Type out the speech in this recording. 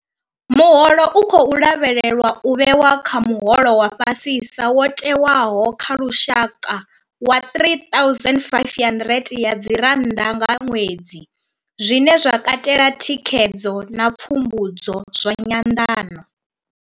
Muholo u khou lavhelelwa u vhewa kha muholo wa fhasisa wo tewaho wa lushaka wa R3 500 nga ṅwedzi, zwine zwa katela thikhedzo na pfumbudzo zwa nyanḓano.